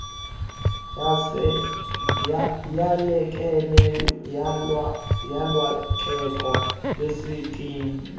yalekeneyo ulwakheko lwesikimu